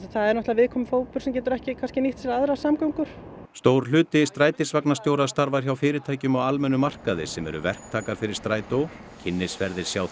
það er viðkvæmur hópur sem getur ekki nýtt sér aðrar samgöngur stór hluti strætisvagnastjóra starfar hjá fyrirtækjum á almennum markaði sem eru verktakar fyrir Strætó kynnisferðir sjá